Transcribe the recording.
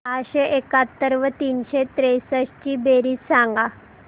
सहाशे एकाहत्तर व तीनशे त्रेसष्ट ची बेरीज सांगा